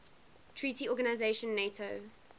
treaty organization nato